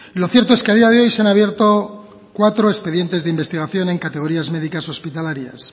lo cierto es que a día de hoy se han abierto cuatro expedientes de investigación en categorías médicas hospitalarias